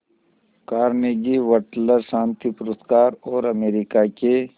Carnegie Wateler शांति पुरस्कार और अमेरिका के